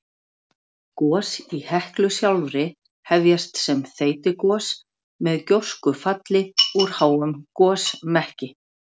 Gos í Heklu sjálfri hefjast sem þeytigos með gjóskufalli úr háum gosmekki.